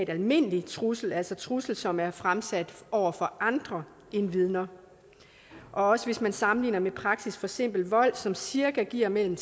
almindelig trussel altså en trussel som er fremsat over for andre end vidner også hvis man sammenligner med praksis for simpel vold som cirka giver mellem